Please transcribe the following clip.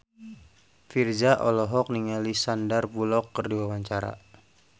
Virzha olohok ningali Sandar Bullock keur diwawancara